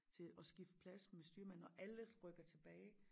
Til at skifte plads med styrmanden og alle rykker tilbage